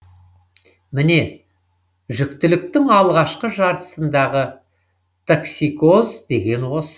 міне жүктіліктің алғашқы жартысындағы токсикоз деген осы